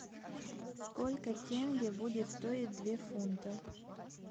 сколько тенге будет стоить две фунтов